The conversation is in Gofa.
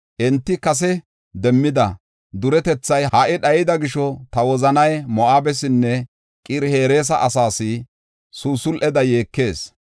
“Enti kase demmida duretethay ha77i dhayida gisho, ta wozanay Moo7abesinne Qir-Hereesa asaas susul7eda yeekas.